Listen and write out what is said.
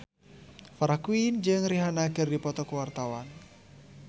Farah Quinn jeung Rihanna keur dipoto ku wartawan